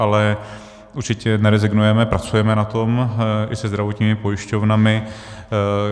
Ale určitě nerezignujeme, pracujeme na tom i se zdravotními pojišťovnami.